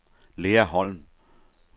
Lea Holm